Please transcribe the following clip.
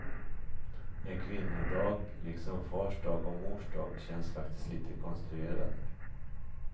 En kvinnodag, liksom fars dag och mors dag, känns faktiskt lite konstruerad.